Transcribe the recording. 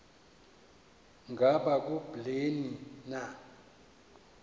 ngaba kubleni na